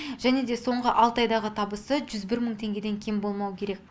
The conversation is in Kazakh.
және де соңғы алты айдағы табысы жүз бір мың теңгеден кем болмауы керек